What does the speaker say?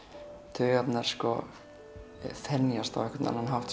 taugarnar þenjast á einhvern annan hátt